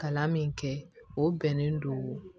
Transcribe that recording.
Kalan min kɛ o bɛnnen don